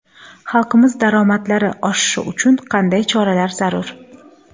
Xalqimiz daromadlari oshishi uchun qanday choralar zarur?.